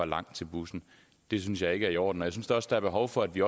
langt til bussen det synes jeg ikke er i orden jeg synes også der er behov for at vi